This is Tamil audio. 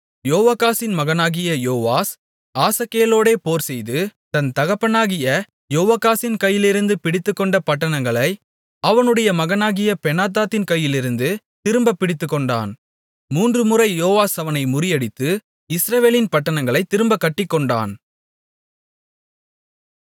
யோவாகாசின் மகனாகிய யோவாஸ் ஆசகேலோடே போர்செய்து தன் தகப்பனாகிய யோவாகாசின் கையிலிருந்து பிடித்துக்கொண்ட பட்டணங்களை அவனுடைய மகனாகிய பெனாதாத்தின் கையிலிருந்து திரும்பப் பிடித்துக்கொண்டான் மூன்றுமுறை யோவாஸ் அவனை முறியடித்து இஸ்ரவேலின் பட்டணங்களைத் திரும்பக் கட்டிக்கொண்டான்